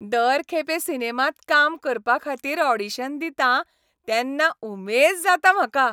दर खेपे सिनेमांत काम करपाखातीर ऑडिशन दितां तेन्ना उमेद जाता म्हाका.